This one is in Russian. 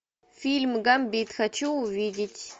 фильм гамбит хочу увидеть